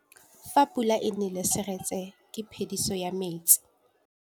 Fa pula e nelê serêtsê ke phêdisô ya metsi.